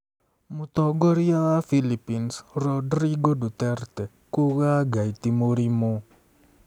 Mũtongoria wa Philippines Rodrigo Duterte kuuga Ngai ti 'mũrimũ'